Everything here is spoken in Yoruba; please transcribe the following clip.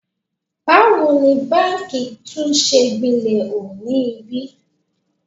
Báwo ni báǹkì tún ṣe gbilẹ̀ hu ni ibí?